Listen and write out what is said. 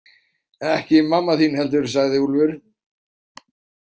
Ekki mamma þín heldur, sagði Úlfur.